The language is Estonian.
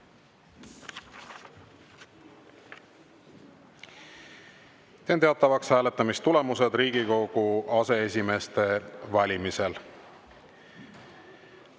Teen teatavaks hääletamistulemused Riigikogu aseesimeeste valimisel.